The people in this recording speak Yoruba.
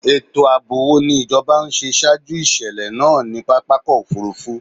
Ètò ààbò wo ni ìjọba ń ṣe ṣaájú ìṣèlẹ̀ náà ní pápákọ̀-òfurufú?